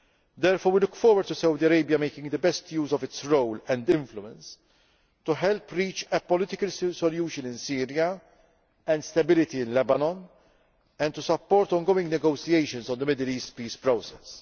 borders. Therefore, we look forward to Saudi Arabia making the best use of its role and influence to help reach a political solution in Syria and stability in Lebanon and to support ongoing negotiations on the Middle East Peace